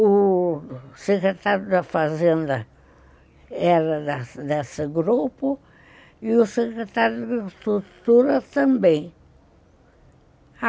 O secretário da fazenda era dessa desse grupo e o secretário da estrutura também.